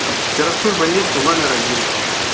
м городской больницы номер один